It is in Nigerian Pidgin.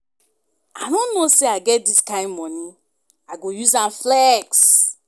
I no know say I get dis kin money, I go use am flex